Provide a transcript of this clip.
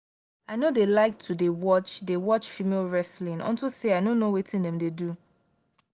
i no dey like to dey watch dey watch female wrestling unto say i no know wetin dem dey do